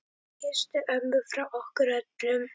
Kysstu ömmu frá okkur öllum.